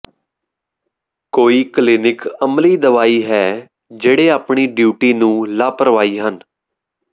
ਕੋਈ ਕਲੀਨਿਕ ਅਮਲੀ ਦਵਾਈ ਹੈ ਜਿਹੜੇ ਆਪਣੀ ਡਿਊਟੀ ਨੂੰ ਲਾਪਰਵਾਹੀ ਹਨ